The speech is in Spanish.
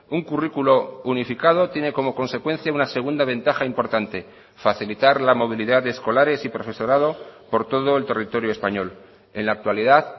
un currículo unificado tiene como consecuencia una segunda ventaja importante facilitar la movilidad de escolares y profesorado por todo el territorio español en la actualidad